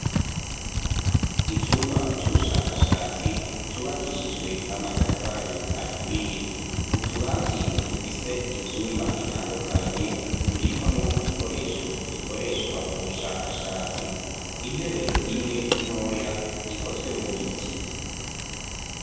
Icumba c’ubushakashatsi cubakishijwe amatafari aturiye. Utubati dufise ivyumba bitandukanye bibikwamwo ibikoresho bikoreshwa mu bushakashatsi. Intebe imwe ntoya ikozwe mu biti.